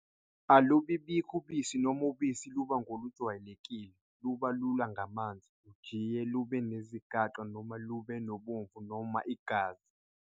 Alubi bikho ubisi noma ubisi luba ngolungajwayelekile, luba lula ngamanzi, lujjiye lube nezigaqa noma lube nobomvu noma igazi.